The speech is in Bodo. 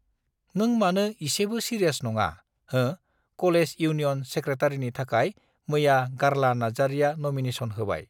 नों मानो एसेबो सिरियास नङा हो कलेज इउनियन सेक्रेटारिनि थाखाय मैया गार्ला नार्जारिया नमिनेसन होबाय